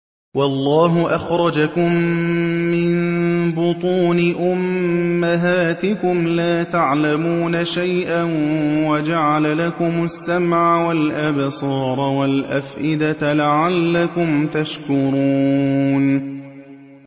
وَاللَّهُ أَخْرَجَكُم مِّن بُطُونِ أُمَّهَاتِكُمْ لَا تَعْلَمُونَ شَيْئًا وَجَعَلَ لَكُمُ السَّمْعَ وَالْأَبْصَارَ وَالْأَفْئِدَةَ ۙ لَعَلَّكُمْ تَشْكُرُونَ